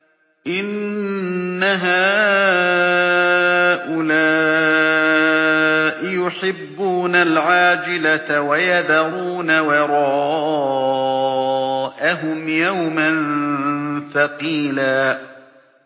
إِنَّ هَٰؤُلَاءِ يُحِبُّونَ الْعَاجِلَةَ وَيَذَرُونَ وَرَاءَهُمْ يَوْمًا ثَقِيلًا